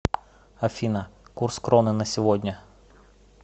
афина курс кроны на сегодня